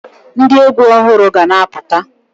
Ndị egwu ọhụrụ ga-na apụta